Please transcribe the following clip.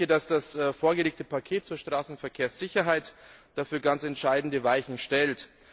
Ich denke, dass das vorgelegte Paket zur Straßenverkehrssicherheit dafür ganz entscheidende Weichen stellt.